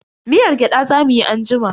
Miyar gyada za mu yi anjima.